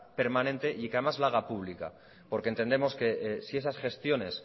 permanente y que además lo haga pública porque entendemos que si esas gestiones